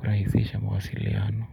kurahisisha mawasiliano.